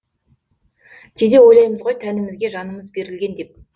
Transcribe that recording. кейде ойлаймыз ғой тәнімізге жанымыз берілген деп